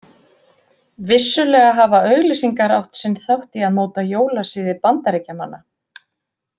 Vissulega hafa auglýsingar átt sinn þátt í að móta jólasiði Bandaríkjamanna.